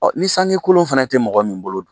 Ɔ ni sangi kolon fana tɛ mɔgɔ min bolo dun